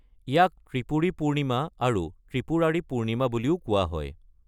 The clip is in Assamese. ইয়াক ত্ৰিপুৰী পূৰ্ণিমা আৰু ত্ৰিপুৰাৰী পূৰ্ণিমা বুলিও কোৱা হয়।